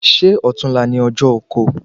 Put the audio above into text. Ṣé ọtún la ni ọjọ oko?